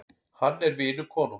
Hann er vinur konungs.